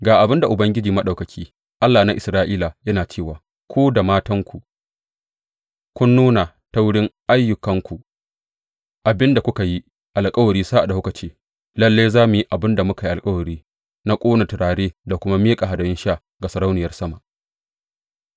Ga abin da Ubangiji Maɗaukaki, Allah na Isra’ila, yana cewa ku da matanku kun nuna ta wurin ayyukanku abin da kuka yi alkawari sa’ad da kuka ce, Lalle za mu yi abin da muka yi alkawari na ƙone turare da kuma miƙa hadayun sha ga Sarauniyar Sama.’